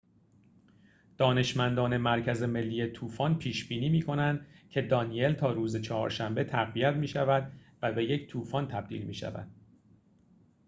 دانشمندان مرکز ملی طوفان پیش بینی می کنند که دانیل تا روز چهارشنبه تقویت می‌شود و به یک طوفان تبدیل می‌شود